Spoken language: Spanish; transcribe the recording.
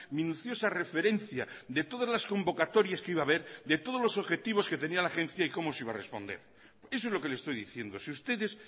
minuciosa referencia de todas las convocatorias que iba a haber de todos los objetivos que tenía la agencia y cómo se iba a responder eso es lo que le estoy diciendo si ustedes